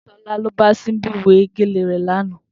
Tolani lóbà Simbi wé gélé rè làná